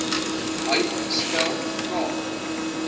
hy spel k